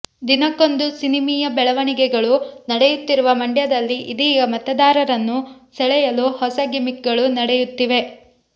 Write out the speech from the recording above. ದಿನಕ್ಕೊಂದು ಸಿನಿಮೀಯ ಬೆಳವಣಿಗೆಗಳು ನಡೆಯುತ್ತಿರುವ ಮಂಡ್ಯದಲ್ಲಿ ಇದೀಗ ಮತದಾರರನ್ನು ಸೆಳೆಯಲು ಹೊಸ ಗಿಮಿಕ್ ಗಳು ನಡೆಯುತ್ತಿವೆ